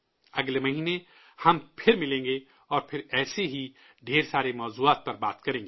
اگلے مہینے ہم پھر ملیں گے، اور پھر ایسے ہی ڈھیر سارے موضوعات پر بات کریں گے